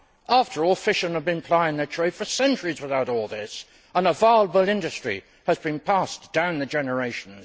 After all, fishermen have been plying their trade for centuries without all this, and a viable industry has been passed down the generations.